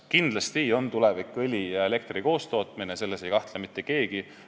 Kindlasti on tulevik õli ja elektri koostootmine, selles ei kahtle mitte keegi.